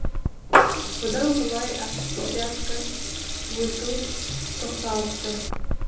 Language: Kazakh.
бұдан былай октябрятқа өту тоқталыпты